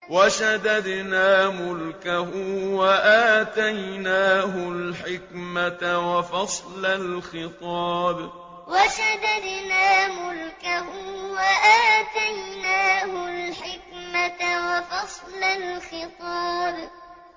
وَشَدَدْنَا مُلْكَهُ وَآتَيْنَاهُ الْحِكْمَةَ وَفَصْلَ الْخِطَابِ وَشَدَدْنَا مُلْكَهُ وَآتَيْنَاهُ الْحِكْمَةَ وَفَصْلَ الْخِطَابِ